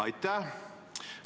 Aitäh!